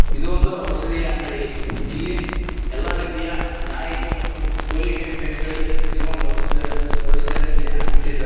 ಇದು ಒಂದು ಔಷಧೀಯ ಅಂಗಡಿ ಇಲ್ಲಿ ಎಲ್ಲಾ ರೀತಿಯ ನಾಯಿಗೆ ಮತ್ತು ಕುರಿಗೆ ಮೇಕೆಗಳಿಗೆ ಸಿಗುವಂತಹ ಔಷಧಿ ಔಷಧಿಗಳನ್ನು ಇಲ್ಲಿ ಹಾಕಿಟ್ಟಿದ್ದಾರೆ.